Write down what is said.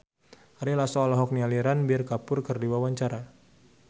Ari Lasso olohok ningali Ranbir Kapoor keur diwawancara